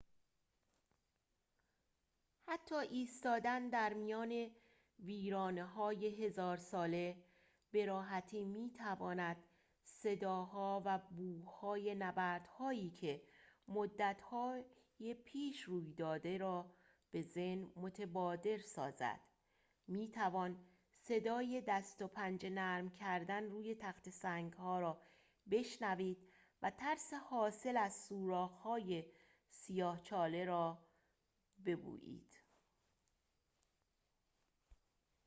حتی ایستادن در میان ویرانه‌های هزار ساله به‌راحتی می‌تواند صداها و بوهای نبردهایی که مدتها پیش روی داده را به ذهن متبادر سازد می‌توان صدای دست و پنجه نرم کردن روی تخته سنگ‌ها را بشنوید و ترس حاصل از سوراخ‌های سیاه چاله را بویید